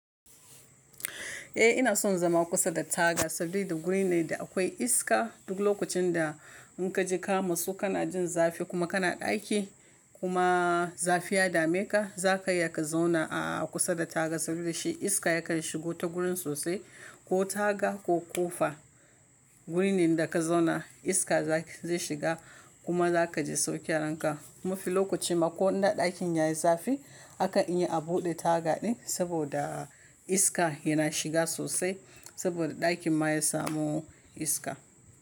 Eh ina son zama kusa da taga, sabida guri ne da akwai iska. Duk lokacin da in ka ji kama su kana jin zafi kuma kana ɗaki kuma zafi ya dame ka, za ka iya ka zauna a kusa da taga sabida shi iska ya kar shigo ta gurin sosai ko taga ko ƙofa. Gurin da ka zauna iska zai shiga kuma za ka ji sauki a ranka. Ma fi lokacin ma ko ina ɗakin yayi zafi aka iya a buɗe taga ɗin saboda iska yana shiga sosai saboda ɗakin ma ya samu iska.